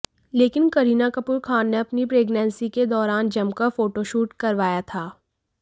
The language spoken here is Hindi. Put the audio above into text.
लेकिन करीना कपूर खान ने अपनी प्रेग्नेंसी के दौरान जमकर फोटोशूट करवाया था